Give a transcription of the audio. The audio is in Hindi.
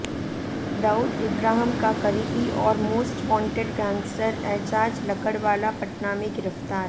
दाऊद इब्राहिम का करीबी और most wanted gangster Ejaz Lakdawala Patna में गिरफ्तार